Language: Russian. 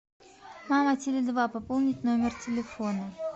мама теле два пополнить номер телефона